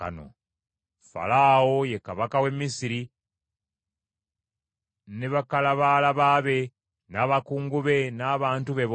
Falaawo, ye kabaka w’e Misiri, ne bakalabaalaba be, n’abakungu be n’abantu be bonna,